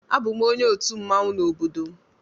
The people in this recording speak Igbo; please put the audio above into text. A bụ m onye otu mmanwụ na obodo m